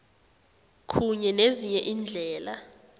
kunye nezinye iindlela